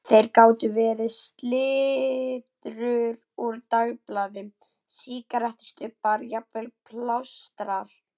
Það gátu verið slitrur úr dagblaði, sígarettustubbar, jafnvel plástrar.